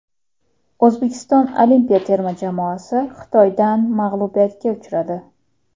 O‘zbekiston olimpiya terma jamoasi Xitoydan mag‘lubiyatga uchradi.